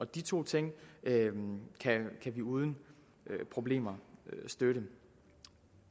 de to ting kan vi uden problemer støtte